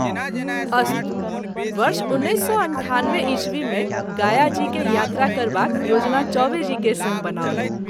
अस्तु वर्ष १९९८ ई० मे गाया जी के यात्रा करबाक योजना चौबे जी के संग बनाओल।